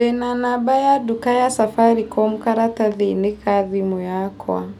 Ndĩ na namba ya nduka ya Safaricom karatathi-inĩ ka thimũ yakwa.